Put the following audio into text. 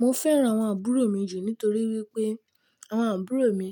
Mo fẹ́ran àwọn àbúrò mi jù nítorí wípé àwọn àbúrò mi,